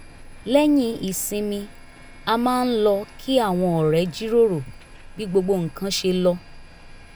lẹ́yìn ìsinmi a máa ń lọ kí àwọn ọ̀rẹ́ jíròrò bí gbogbo nǹkan ṣe lọ